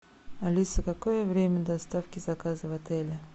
алиса какое время доставки заказа в отеле